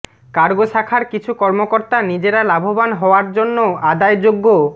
cargo শাখার কিছু কর্মকর্তা নিজেরা লাভবান হওয়ার জন্য আদায়যোগ্য